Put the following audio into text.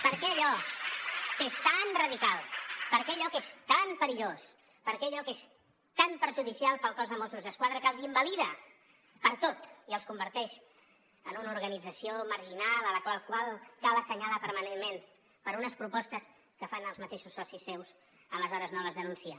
per què allò que és tan radical per què allò que és tan perillós per què allò que és tan perjudicial per al cos de mossos d’esquadra que els invalida per a tot i els converteix en una organització marginal a la qual cal assenyalar permanentment per unes propostes que fan els mateixos socis seus aleshores no les denuncia